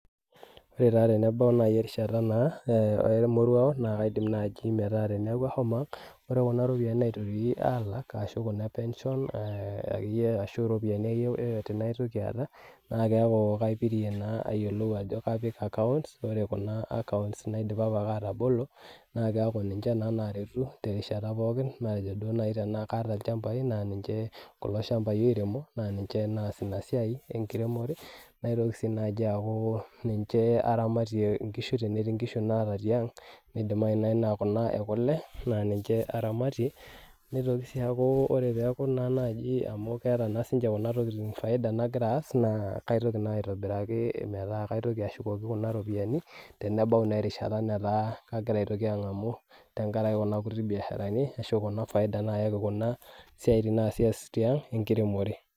ore taa tenebau erishata emoruao naa kadim naaji paa teneeku ahomo ang' ore kunaropiyiani naitoki alak ashu epension arashu iropiyiani akeyie naitoki aata keku kaipirie naa apik account ore kuna account naa keku naa aidipa apa atabolo pooki matejo kaata duo naaji ilchambai kuloshambai oiremo naa niche aasie ena siai enkiremore natoki sii aaku niche aramatishore , tenetii inkishu naata tiang' anaa kuna ekule naa niche aramatie nitoki sii aku keeta kuna tokitin faida nagira aas naitoki sii aas aitobiraki meeta kagira aitoki ang'amu tengaraki kuna kutiti faidani naa kepuku kunasiatin naasita tiang' enkiremore.